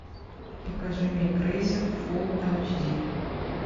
покажи мне крейсер фул айч ди